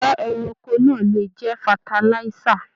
Igbẹ́ ẹranko náà lè jẹ fatalisa.